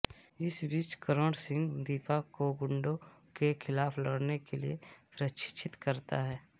इस बीच करण सिंह दीपा को गुंडों के खिलाफ लड़ने के लिए प्रशिक्षित करता है